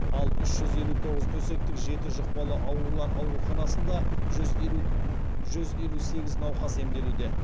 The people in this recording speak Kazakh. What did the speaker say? ал үш жүз елу тоғыз төсектік жеті жұқпалы аурулар ауруханасында жүз елу сегіз науқас емделуде